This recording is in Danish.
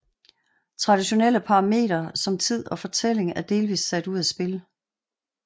Traditionelle parametre som tid og fortælling er sat delvis ud af spil